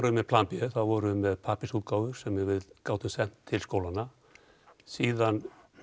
með plan b við vorum með pappírsútgáfur sem við gátum sent til skólanna síðan